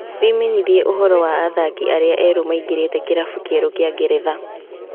Wĩmenyithie ũhoro wa athaki arĩa erũ maingĩrĩte kĩrabu kĩerũ kĩa Ngeretha.